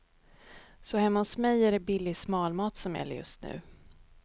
Så hemma hos mig är det billig smalmat som gäller just nu.